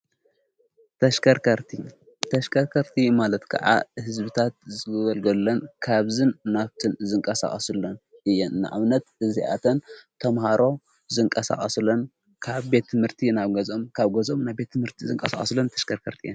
ተከርካርቲ ተሽከርከርቲ ማለት ከዓ ሕዝብታት ዘዘዘልገለን ካብዝን ናፍትን ዝንቃሣኣስሎን እየን ንኣውነት እዚኣተን ተምሃሮ ዝንቀሳዖስለን ካብ ቤትምህርቲ ናብ ገዞም ካብ ገዞም ናብ ቤትምህርቲ ዝንቃሳኣስለን ተሽከርከርቲ እየን።